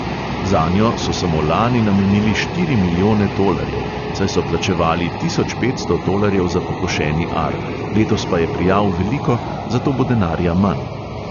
Zanjo so samo lani namenili štiri milijone tolarjev, saj so plačevali tisoč petsto tolarjev za pokošeni ar, letos pa je prijav veliko, zato bo denarja manj.